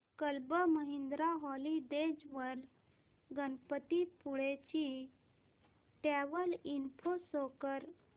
club Mahindra holidays वर गणपतीपुळे ची travel info show कर